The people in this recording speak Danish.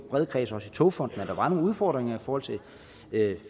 bred kreds også i togfonden dk at der var nogle udfordringer i forhold til